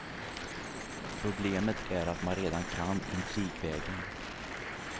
Problemet är att man redan kan intrigvägen.